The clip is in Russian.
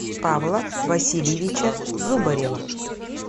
павла васильевича зубарева